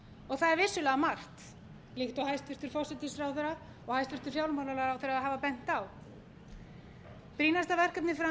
það er vissulega margt líkt og hæstvirtur forsætisráðherra og hæstvirtur fjármálaráðherra hafa bent á brýnasta verkefnið fram